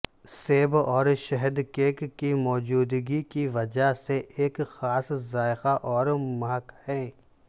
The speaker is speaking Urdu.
سیب اور شہد کیک کی موجودگی کی وجہ سے ایک خاص ذائقہ اور مہک ہے